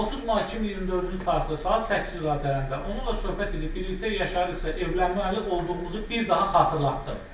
30 mart 2024-cü tarixdə saat 8 radələrində onunla söhbət edib, birlikdə yaşayırıqsa evlənməli olduğumuzu bir daha xatırlatdım.